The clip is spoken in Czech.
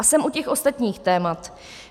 A jsem u těch ostatních témat.